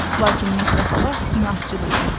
Lakin Netta xala inadcıl idi.